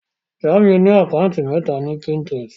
Jamiu ní Àkáùntì méta lórí Pinterest.